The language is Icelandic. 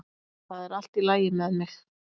Það er allt í lagi með mig